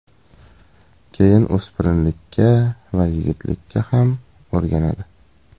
Keyin o‘spirinlikka va yigitlikka ham o‘rganadi.